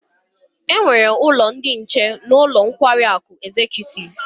E nwere ulo ndi nche n'ulo nkwari aku Executive